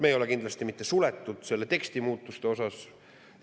Me ei ole kindlasti mitte suletud selle teksti muutmise.